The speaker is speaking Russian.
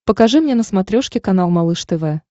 покажи мне на смотрешке канал малыш тв